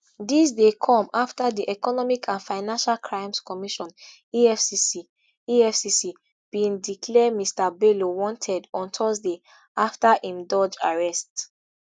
dis dey come after di economic and financial crimes commission efcc efcc bin declare mr bello wanted on thursday afta im dodge arrest